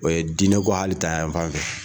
O ye diinɛ ko hali ta yan fan fɛ.